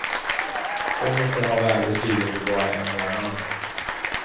Så mycket har värdet stigit på bara en månad.